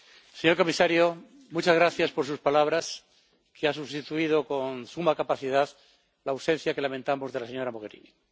señor comisario, muchas gracias por sus palabras, que han sustituido con suma capacidad la ausencia, que lamentamos, de la señora Mogherini.